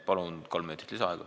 Palun kolm minutit lisaaega!